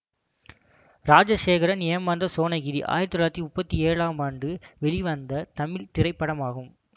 ராஜசேகரன் ஏமாந்த சோணகிரி ஆயிரத்தி தொள்ளாயிரத்தி முப்பத்தி ஏழாம் ஆண்டு வெளிவந்த தமிழ் திரைப்படமாகும்